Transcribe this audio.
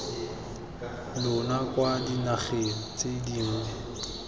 lona kwa dinageng tse dingwe